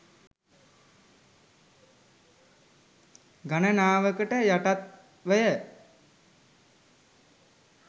ගණනාවකට යටත්වය.